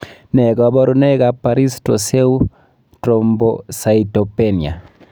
Nee kabarunoikab Paris Trousseau Thrombocytopenia?